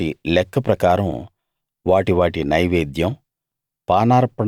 వాటి వాటి లెక్క ప్రకారం వాటి వాటి నైవేద్యం